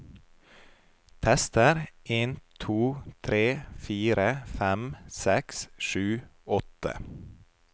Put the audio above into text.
Tester en to tre fire fem seks sju åtte